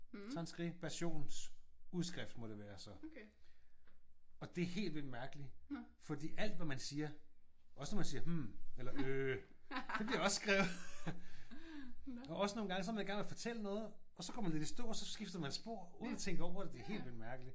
Transskriptionsudskrift må det være så. Og det er helt vildt mærkeligt. Fordi alt hvad man siger også når man siger hm eller øh det bliver også skrevet. Og også nogle gange så er man i gang med at fortælle noget og så går man lidt i stå og så skifter man spor uden at tænke over det. Det er helt vildt mærkeligt